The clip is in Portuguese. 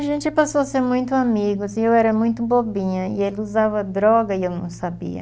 A gente passou a ser muito amigos e eu era muito bobinha e ele usava droga e eu não sabia.